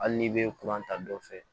Hali n'i bɛ kuran ta dɔ fɛ